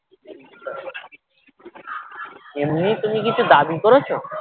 এমনি তুমি কিছু দাবী করেছো?